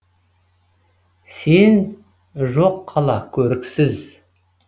сен жоқ қала көріксіз